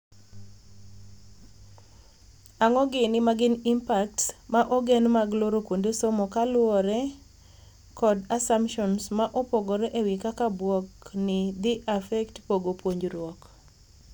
Ang'o gini ma gin impacts ma ogen mag looro kuonde somo kaluore kod assumptions ma opogore ewii kaka bwok ni dhii affect pogo puonjruok.